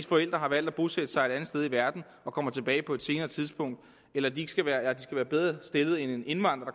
forældre har valgt at bosætte sig et andet sted i verden og kommer tilbage på et senere tidspunkt eller at de skal være bedre stillet end en indvandrer